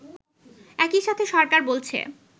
একইসাথে সরকার বলছে